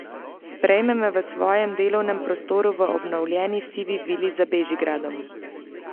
Sprejme me v svojem delovnem prostoru v obnovljeni sivi vili za Bežigradom.